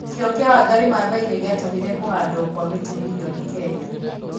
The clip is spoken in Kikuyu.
Kĩyo kĩa Wangari Maathai nĩ gĩatũmire kũhandwo kwa mĩtĩ mirioni Kenya.